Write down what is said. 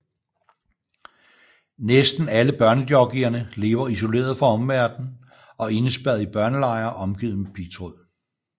Næsten alle børnejockeyerne lever isoleret fra omverdenen og indespærret i børnelejre omgivet med pigtråd